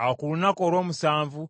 Awo ku lunaku olw’omusanvu